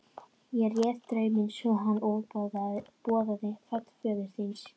Ég réð drauminn svo að hann boðaði fall föður þíns.